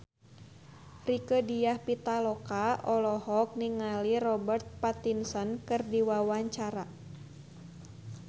Rieke Diah Pitaloka olohok ningali Robert Pattinson keur diwawancara